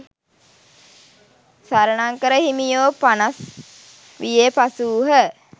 සරණංකර හිමියෝ පනස් වියේ පසු වූහ.